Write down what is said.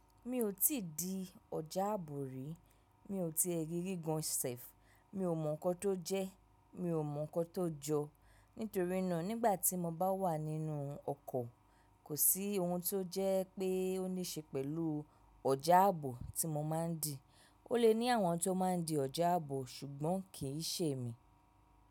Mi ò tí di ọ̀já ààbò rí, mi ò ti rí gígùn sef, mi ò mọ̀ nǹkan tó jẹ́, mi ò mọ̀ nǹkan tó jọ. Nítorínà nígbà tí mo bá wà nínú ọkọ̀, kò sí ohun tó jẹ́ pé ó níṣe pẹ̀lú ọ̀já ààbò tí mo máa ń dì. Ó lè ní àwọn tó máa ń di ọ̀já ààbò ṣùgbọ́n kì í ṣe èmi.